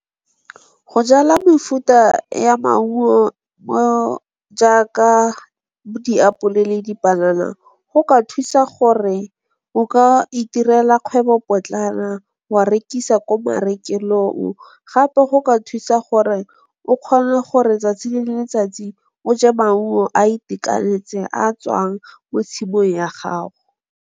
Go jala mefuta ya maungo jaaka bo diapole le dipanana go ka thusa gore o ka itirela kgwebopotlana wa rekisa ko marekelong, gape go ka thusa gore o kgone gore 'tsatsi le letsatsi o je maungo a itekanetse a tswang mo tshimong ya gago.